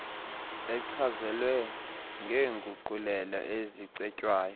echazelwe ngeenguqulelo ezicetywayo